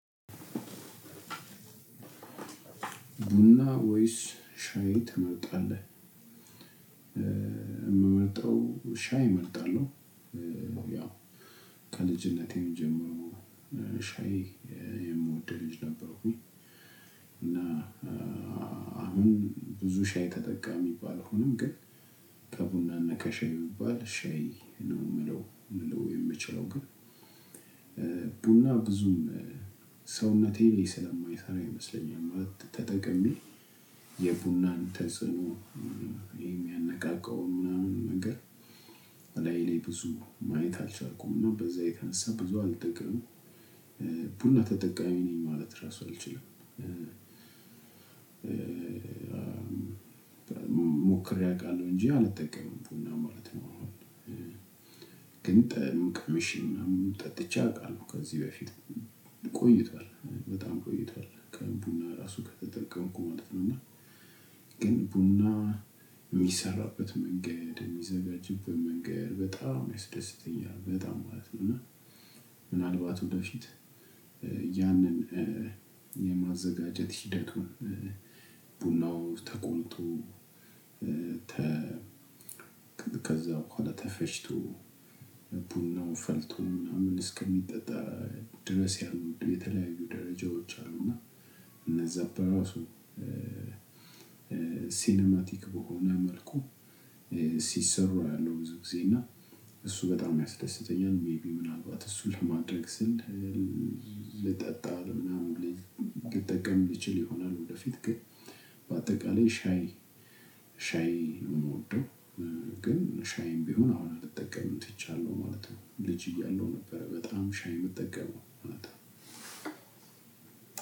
ቡና ወይስ ሻይ ትመርጣለህ? የምመርጠው ሻይ እመርጣለው። ያው ከልጅነቴም ጀመሮ ሻይ የምወደው ልጅ ነበርኩኝ። እና አሁን ብዙ ሻይ ተጠቃሚ ባልሆኖም ግን ከቡናና ከሻይ ብባል ሻይ ነው ልለው የምለው የምችለው። ግን ቡና ብዙም ሰውነቴ ላይ ስለማይሰራ ይመስለኛል። ተጠቅሜ የቡናን ተጽዕኖ የሚያነቃቃው ምናምን ነገር ላይ ላይ ብዙ ማየት አልቻልኩም ነው በዛ የተነሳ ብዙ አልጠቀምም። ቡና ተጠቃሚ ነኝ ማለት ራሱ አልችልም። ሞክሬ አውቃለሁ እንጂ አልጠቀምም ቡና ማለት ነው። ግን ጣዕም ቀምሽ ምናምን ጠጥቼ አውቃለሁ ከዚህ በፊት ቆይቷል በጣም ቆይቷል ቡና ራሱ ከተጠቀምኩ ማለት ነው። እና ግን ቡና የሚሰራበት መንገድ የሚዘጋጅብን መንገድ በጣም ያስደስተኛል በጣም ማለት ነው። እና ምናልባት ወደፊት ያንን የማዘጋጀት ሂደቱን ቡናው ተቆልቶ ከዛ በኋላ ተፈጭቶ ቡና ነው ፈልቶ ምናምን እስከሚጠጣ ድረስ ያሉ የተለያዩ ደረጃዎች አሉና። እነዛ በራሱ ሲኒማቲክ በሆነ መልኩ ሲሰሩ አያለው ብዙ ጊዜ እና እሱ በጣም ያስደስተኛል። ሜይቢ ምናልባት እሱ ለማድረግ ስል ልጠጣ ምናምን ልጠቀም እችል ይሆናል። ወደፊት ግን በአጠቃላይ ሻይ ሻይ ነው የምወደው። ግን ሻይም ቢሆን አሁን መጠቀም ትቻለሁ ማለት ነው። ልጅ እያለሁ ነበር በጣም ሻይ የምጠቀመው ማለት ነው።